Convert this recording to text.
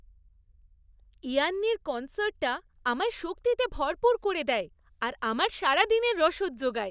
ইয়ান্নির কন্সার্টটা আমায় শক্তিতে ভরপুর করে দেয় আর আমার সারাদিনের রসদ জোগায়।